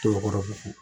Tɔɔrɔ fo